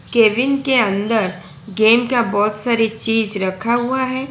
Kevin के अंदर game का बहोत सारी चीज रखा हुआ है।